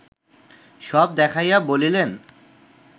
সব দেখাইয়া বলিলেন